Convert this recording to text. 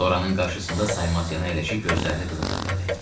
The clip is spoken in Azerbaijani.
Loranın qarşısında saymamazlıqla əyləşib gözlərini qıza zillədi.